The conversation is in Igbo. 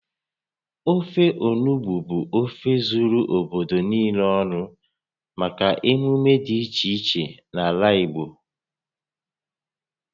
Ofe onugbu bụ ofe zuru obodo niile ọnụ maka emume dị iche iche n'ala Igbo